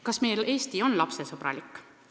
Kas meie Eesti on lapsesõbralik?